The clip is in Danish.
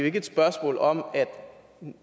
ikke et spørgsmål om